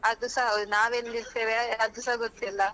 ಹಾ ಅದುಸ ಹೌದು, ನಾವ್ ಎಲ್ಲಿರ್ತೇವೆ ಅದೂಸ ಗೊತ್ತಿಲ್ಲ.